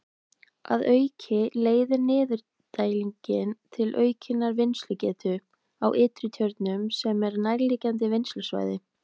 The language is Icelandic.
Að auki leiðir niðurdælingin til aukinnar vinnslugetu á Ytri-Tjörnum sem er nærliggjandi vinnslusvæði.